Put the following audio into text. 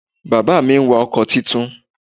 Bàbá mi n wa ọkò titun